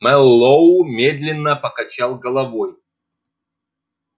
мэллоу медленно покачал головой